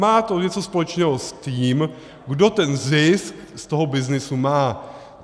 Má to něco společného s tím, kdo ten zisk z toho byznysu má.